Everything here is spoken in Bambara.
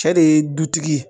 Cɛ de ye dutigi ye